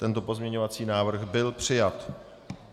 Tento pozměňovací návrh byl přijat.